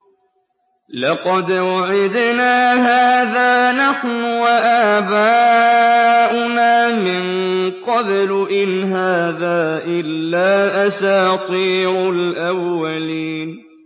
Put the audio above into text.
لَقَدْ وُعِدْنَا هَٰذَا نَحْنُ وَآبَاؤُنَا مِن قَبْلُ إِنْ هَٰذَا إِلَّا أَسَاطِيرُ الْأَوَّلِينَ